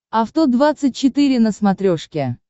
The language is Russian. авто двадцать четыре на смотрешке